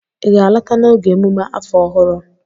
ị ga-alọta n'oge emume afọ ọhụrụ?